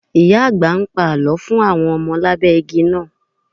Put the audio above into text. Ìyá-àgbà ń pa àlọ́ fún àwọn ọmọ lábẹ́ igi náà.